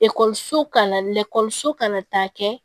ka na taa kɛ